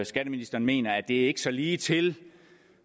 skatteministeren mener at det ikke er så ligetil